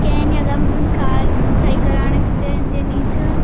केन यखम कार सही कराणक् ते दिनि च।